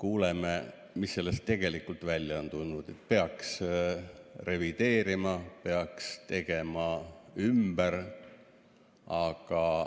kuuleme, mis sellest tegelikult välja on tulnud, et peaks revideerima, peaks tegema ümber.